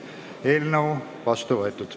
Eelnõu on vastu võetud.